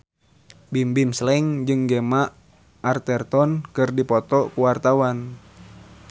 Bimbim Slank jeung Gemma Arterton keur dipoto ku wartawan